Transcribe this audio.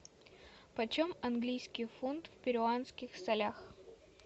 почем английский фунт в перуанских солях